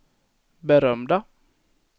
berömda